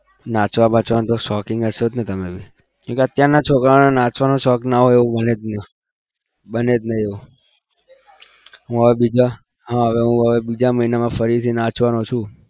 નાચવા બાચવાના તો શોખીન હશો જ ને તમે કેમ કે અત્યાર ના છોકરાઓને નાચવાનો શોખ ના હોય એવું બને જ નહિ બને જ નહિ એવું હું હવે હા હવે હું હવે બીજા મહિનામાં ફરીથી નાચવાનો છું.